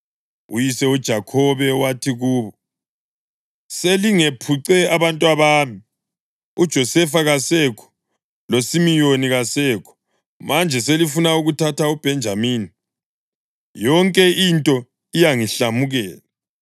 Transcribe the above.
Uyise uJakhobe wathi kubo, “Selingephuce abantwabami. UJosefa kasekho, loSimiyoni kasekho; manje selifuna ukuthatha uBhenjamini. Yonke into iyangihlamukela!”